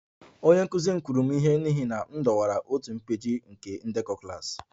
Onye nkụzi m kụrụ m ihe n'ihi na m dọwara otu peeji nke ndekọ klas